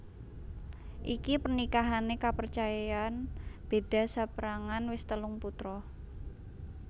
Iki pernikahané kapercayan beda saperangan wis telung putra